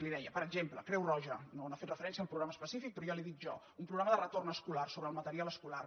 li deia per exemple creu roja no ha fet referència al programa específic però ja li ho dic jo un programa de retorn escolar sobre el material escolar